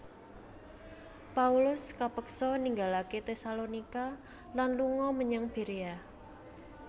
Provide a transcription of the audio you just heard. Paulus kepeksa ninggalaké Tesalonika lan lunga menyang Berea